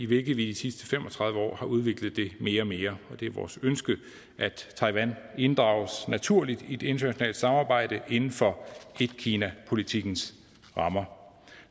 vi i de sidste fem og tredive år har udviklet mere og mere og det er vores ønske at taiwan inddrages naturligt i et internationalt samarbejde inden for etkinapolitikkens rammer